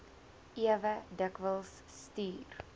ewe dikwels stuur